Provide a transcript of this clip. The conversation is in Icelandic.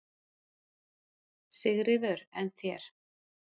Sigríður: En þér?